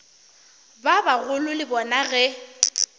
ba bagolo le bona ge